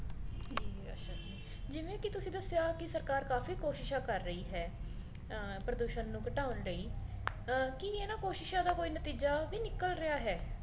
ਜਿਵੇਂ ਕੀ ਤੁਸੀ ਦੱਸਿਆਂ ਕੀ ਸਰਕਾਰ ਕਾਫੀ ਕੋਸ਼ਿਸ਼ਾਂ ਕਰ ਰਹੀ ਹੈ ਅਹ ਪ੍ਰਦੂਸ਼ਣ ਨੂੰ ਘਟਾਉਣ ਲਈ ਕੀ ਇਹਨਾਂ ਕੋਸ਼ਿਸ਼ਾਂ ਦਾ ਕੋਈ ਨਤੀਜਾ ਵੀ ਨਿਕਲ ਰਿਹਾ ਹੈ